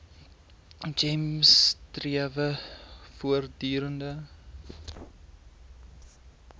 gems strewe voortdurend